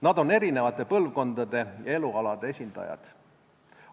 Nad on erinevate põlvkondade ja elualade esindajad.